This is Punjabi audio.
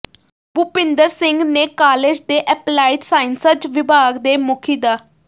ਭੁਪਿੰਦਰ ਸਿੰਘ ਨੇ ਕਾਲਜ ਦੇ ਐਪਲਾਈਡ ਸਾਇੰਸਜ਼ ਵਿਭਾਗ ਦੇ ਮੁਖੀ ਡਾ